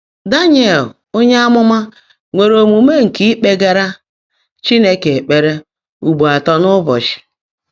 DÁŃYÉL ónyé ámụ́má nwèèré ómuumé nkè íkpègáárá Chínekè ékpèré ụ́gbọ́ átọ́ n’ụ́bọ́chị́.